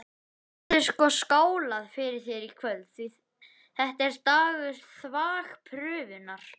Það verður sko skálað fyrir þér í kvöld, því þetta er dagur þvagprufunnar!